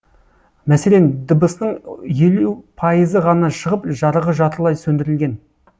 мәселен дыбысының елу пайызы ғана шығып жарығы жартылай сөндірілген